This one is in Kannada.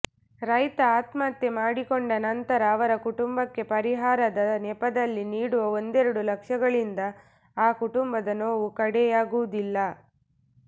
ರೈತ ಆತ್ಮಹತ್ಯೆ ಮಾಡಿಕೊಂಡ ನಂತರ ಅವರ ಕುಟುಂಬಕ್ಕೆ ಪರಿಹಾರದ ನೆಪದಲ್ಲಿ ನೀಡುವ ಒಂದೆರಡು ಲಕ್ಷಗಳಿಂದ ಆ ಕುಟುಂಬದ ನೋವು ಕಡೆಯಾಗುವುದಿಲ್ಲ